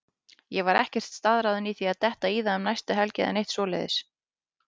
Ég var ekkert staðráðinn í að detta í það um næstu helgi eða neitt svoleiðis.